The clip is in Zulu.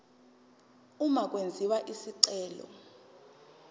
uma kwenziwa isicelo